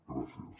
gràcies